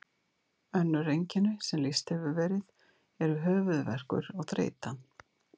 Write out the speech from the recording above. Önnur einkenni sem lýst hefur verið eru höfuðverkur og þreyta.